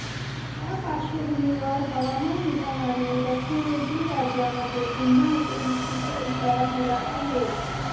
या पाश्वर्र्भूमीवर हवामान विभागाने दक्षिणेतील राज्यांमध्ये पुन्हा अतिवृष्टीचा इशारा दिला आहे